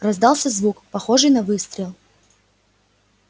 раздался звук похожий на выстрел